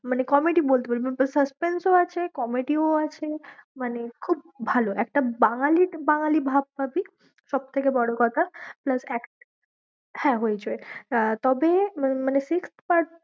মানে comedy বলতে পারিস বা suspense ও আছে comedy ও আছে, মানে খুব ভালো একটা বাঙালি বাঙালি ভাব পাবি, সবথেকে বড়ো কথা plus এক হ্যাঁ, হইচই আহ তবে মানে sixth part